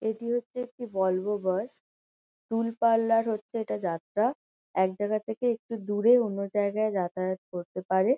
এটি হচ্ছে একটি বলভো বাস । টুলপাল্লার হচ্ছে এটা যাত্রা। এক জায়গা থেকে একটু দূরে অন্য জায়গায় যাতায়াত করতে পারে।